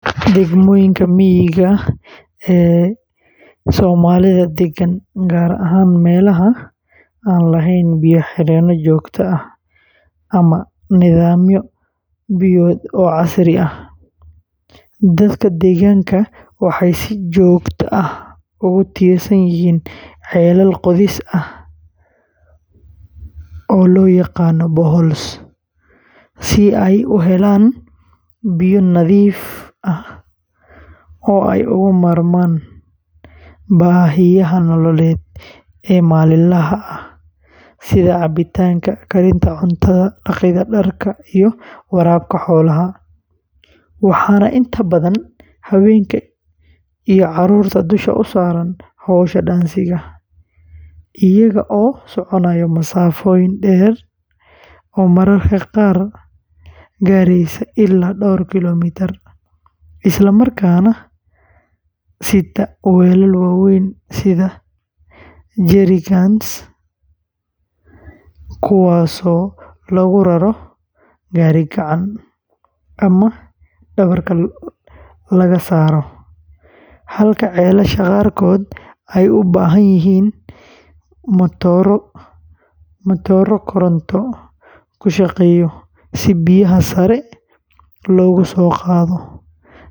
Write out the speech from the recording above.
Degmooyinka miyiga ah ee Soomalidha degan ee wadankeenan, gaar ahaan meelaha aan lahayn biyo xireeno joogto ah ama nidaamyo biyood casri ah, dadka deegaanka waxay si joogto ah ugu tiirsan yihiin ceelal qodis ah boreholes si ay u helaan biyo nadiif ah oo ay uga maarmaan baahiyaha nololeed ee maalinlaha ah sida cabitaanka, karinta cuntada, dhaqidda dharka, iyo waraabka xoolaha, waxaana inta badan haweenka iyo carruurta dusha u saaran hawsha dhaansiga, iyaga oo soconaya masaafo dheer oo mararka qaar gaaraysa ilaa dhowr kiiloomitir, isla markaana sita weelal waaweyn sida jerry cans, kuwaasoo lagu raro gaari-gacan ama dhabarka laga saaro, halka ceelasha qaarkood ay u baahan yihiin matooro koronto ku shaqeeya si biyaha sare loogu soo qaado.